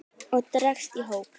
og dregst í hóp